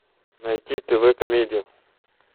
найти тв комедию